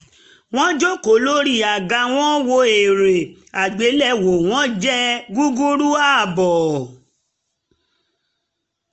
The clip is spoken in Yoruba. wọ́n jókòó lórí àga wọ́n wo eré àgbéléwò wọ́n jẹ gúrúrú abọ́